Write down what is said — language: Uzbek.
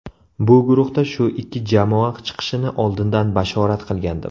Bu guruhda shu ikki jamoa chiqishini oldindan bashorat qilgandim.